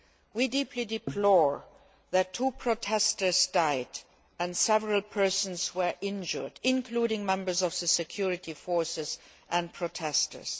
We deeply deplore that two protesters died and several persons were injured, including members of the security forces and protestors.